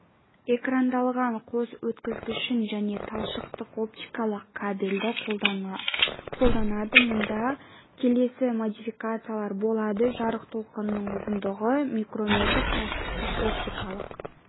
экрандалған қос өткізгішін және талшықтық-оптикалық кабельді қолданады мұнда келесі модификациялар болады жарық толқынының ұзындығы микрометр талшықтық оптикалық